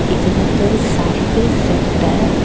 இதன பேரு service centre .